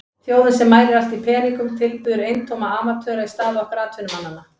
Þjóðin sem mælir allt í peningum tilbiður eintóma amatöra í stað okkar atvinnumannanna.